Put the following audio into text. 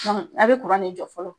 a be ne jɔ fɔlɔ.